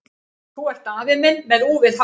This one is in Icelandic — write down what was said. Þú ert afi minn með úfið hár!